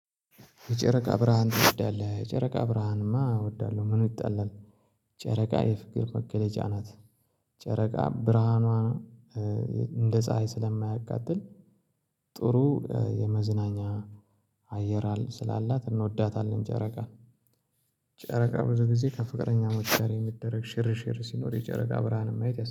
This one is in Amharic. የጨረቃ ብርሃን ትወዳለህ? የጨረቃ ብርሃንእማ እወዳለሁ ምኑ ይጣላል ጨረቃ የፍቅር መገለጫ ናት። ጨረቃ ብርሃኗ እንደ ፀሀይ ስለማያቃጥል ጥሩ የመዝናኛ አየር ስላላት እንወዳታለን ጨረቃ። ጨረቃ ብዙ ጊዜ ከፍቅረኛ ሞችጋር የሚደረግ ሽር ሽር ሲኖር የጨረቃ ብርሃንም ማየት